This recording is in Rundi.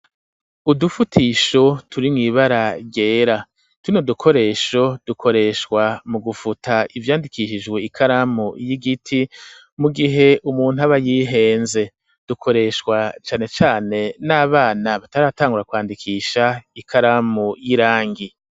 Udufutisho turi mw'ibara ryera, tuno dukoresho dukoreshwa mu gufuta ivyandikishijwe ikaramu y'igiti, mu gihe umuntu aba yihenze, dukoreshwa cane cane n'abana bataratangura kwandikisha ikaramu y'irangi.